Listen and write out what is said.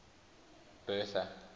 bertha